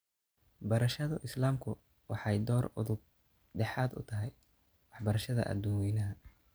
Barashada Islaamku waxay door udub dhexaad u tahay waxbarashada aduun weynaha.